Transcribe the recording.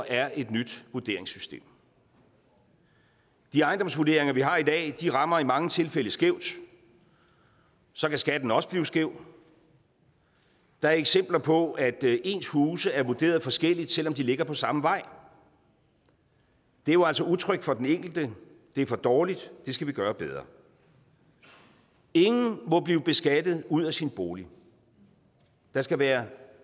er et nyt vurderingssystem de ejendomsvurderinger vi har i dag rammer i mange tilfælde skævt og så kan skatten også blive skæv der er eksempler på at ens huse er vurderet forskelligt selv om de ligger på samme vej det er jo altså utrygt for den enkelte det er for dårligt det skal vi gøre bedre ingen må blive beskattet ud af sin bolig der skal være